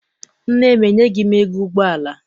Nne m enyeghi m ego ụgbọala.